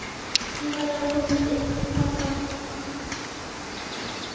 Ég verð að komast inn til pabba.